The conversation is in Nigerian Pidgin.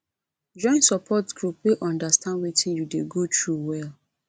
join support group wey understand wetin you dey go through well